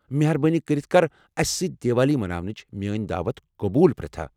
مہربٲنی کٔرتھ کر اسہ سۭتۍ دیوالی مناونٕچ میٲنۍ دعوت قبول، پرٛیتھا۔